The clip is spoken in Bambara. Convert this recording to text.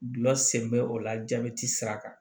Gulɔ sen bɛ o la jabɛti sira kan